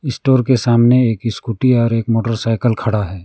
Store के सामने एक स्कूटी और एक मोटरसाइकिल खड़ा है।